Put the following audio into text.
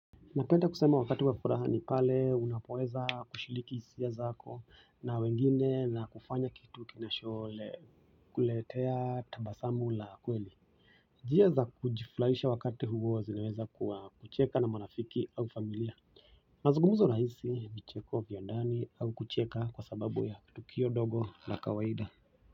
Napenda kusema wakati wa furaha ni pale unapoweza kushiriki hisia zako na wengine na kufanya kitu kinacho le kuletea tabasamu la kweli. Njia za kujifurahisha wakati huo zinaweza kuwa kucheka na marafiki au familia. Mazungumzo rahisi, vicheko, vya ndani au kucheka kwa sababu ya tukio dogo na kawaida.